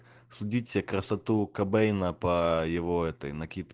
следить за красоту кобейна по его этой накидке